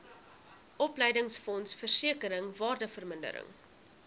opleidingsfonds versekering waardevermindering